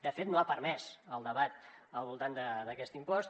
de fet no ha permès el debat al voltant d’aquest impost